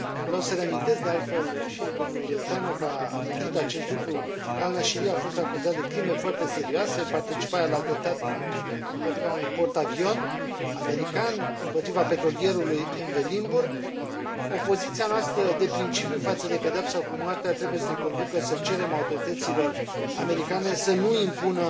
Vreau să reamintesc, de altfel și domnul Tanok a amintit acest lucru, că al Nashiri a fost acuzat de crime foarte serioase, participarea la atentatul împotriva unui portavion american, împotriva petrolierului MV Limburg. Opoziția noastră de principiu față de pedeapsa cu moartea trebuie să ne conducă să cerem autorităților americane să nu impună